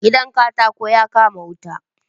Gidan katakon ya kama wuta